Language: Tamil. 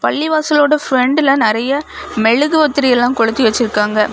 பள்ளிவாசலோட பிரண்டுல நெறைய மெழுகுவத்திரி எல்லாம் கொளுத்தி வெச்சுருக்காங்க.